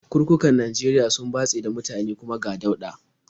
Kurkukan Najeriya sun batse da mutane, kuma ga dauɗa.